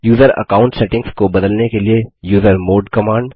user account settings को बदलने के लिए यूजरमॉड कमांड